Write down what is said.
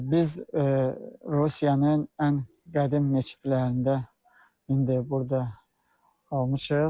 Biz Rusiyanın ən qədim məscidlərində indi burda qalmışıq.